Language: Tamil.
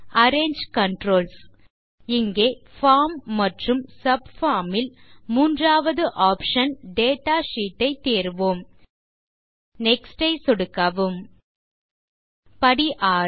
அரேஞ்சு கன்ட்ரோல்ஸ் இங்கே பார்ம் மற்றும் சப்பார்ம் ல் மூன்றாவது ஆப்ஷன் டேட்டா ஷீட் ஐ தேர்வோம் நெக்ஸ்ட் பட்டன் ஐ சொடுக்கவும் படி 6